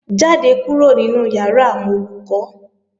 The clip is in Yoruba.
Jáde kúrò nínu ìyàrá àwọn Olùkọ́!